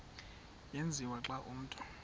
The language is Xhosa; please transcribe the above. tyenziswa xa umntu